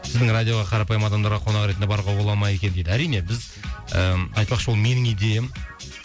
сіздің радиоға қарапайым адамдарға қонақ ретінде баруға бола ма екен дейді әрине біз ыыы айтпақшы ол менің идеям